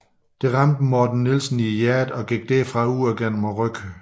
Det ramte Morten Nielsen i hjertet og gik derfra ud gennem ryggen